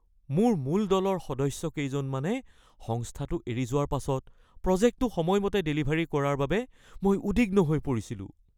মোৰ মূল দলৰ সদস্য কেইজনমানে সংস্থাটো এৰি যোৱাৰ পাছত প্ৰজেক্টটো সময়মতে ডেলিভাৰী কৰাৰ বাবে মই উদ্বিগ্ন হৈ পৰিছিলোঁ।